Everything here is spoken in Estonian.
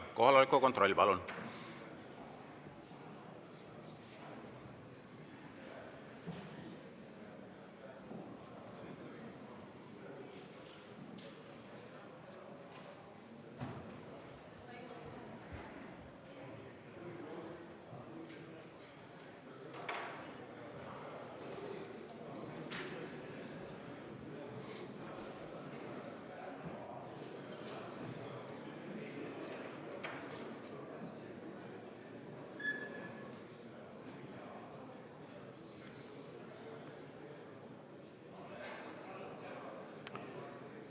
Kohaloleku kontroll, palun!